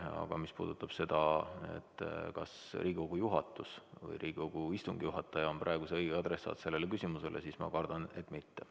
Aga mis puudutab seda, kas Riigikogu juhatus või Riigikogu istungi juhataja on praegu õige adressaat sellele küsimusele, siis ma kardan, et mitte.